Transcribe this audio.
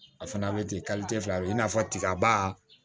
A fana bɛ ten fila don i n'a fɔ tigaba